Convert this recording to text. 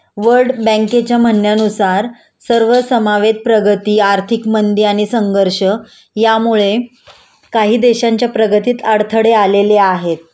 world बँकेच्या म्हंणण्यानुसार सर्व समावेत प्रगती आर्थिक मंदी आणि संघर्ष यामुळे काही देशांच्या प्रगतीत अडथडे आलेले आहेत